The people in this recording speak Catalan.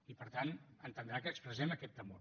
i per tant entendrà que expressem aquest temor